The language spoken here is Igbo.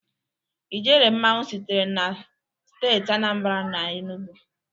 Ijele mmanwu sitere na steeti Anambra na Enugwu.